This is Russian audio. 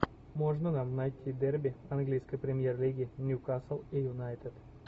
можно нам найти дерби английской премьер лиги ньюкасл и юнайтед